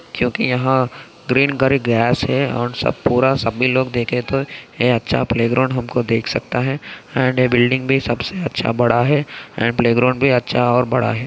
क्युकी यह green grass है और पूरा सभी लोग देखे तो है अच्छा प्लेग्राउंड देख सकता है एंड ये बिल्डिंग भी सबसे अच्छा बड़ा है एंड प्लेग्राउंड भी सबसे बड़ा है।